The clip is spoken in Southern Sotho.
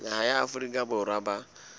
naha ya afrika borwa ba